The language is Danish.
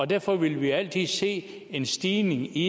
derfor vil vi altid se en stigning i